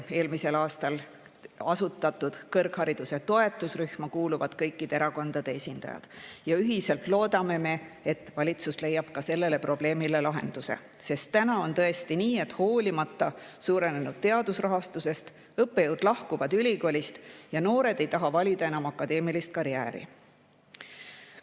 Eelmisel aastal asutatud kõrghariduse toetusrühma kuuluvad kõikide erakondade esindajad ja ühiselt loodame, et valitsus leiab ka sellele probleemile lahenduse, sest praegu on tõesti nii, et hoolimata suurenenud teadusrahastusest lahkuvad õppejõud ülikoolist ja noored ei taha enam valida akadeemilist karjääri.